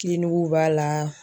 Kiliniguw b'a la